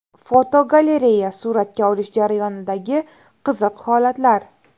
Fotogalereya: Suratga olish jarayonidagi qiziq holatlar.